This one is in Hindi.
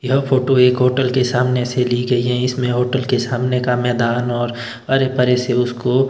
यह फोटो एक होटल के सामने से ली गई है इसमें होटल के सामने का मैदान और अरे परे से उसको--